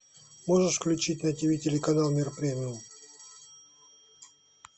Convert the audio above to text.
можешь включить на тиви телеканал мир премиум